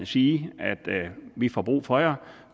sige vi får brug for jer